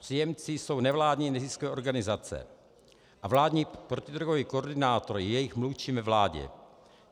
Příjemci jsou nevládní neziskové organizace a vládní protidrogový koordinátor je jejich mluvčím ve vládě.